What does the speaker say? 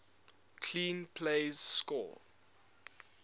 clean plays score